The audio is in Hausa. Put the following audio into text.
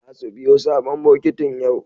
Zasu siyo sabon bokitin yau.